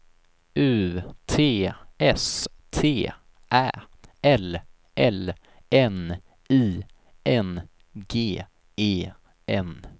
U T S T Ä L L N I N G E N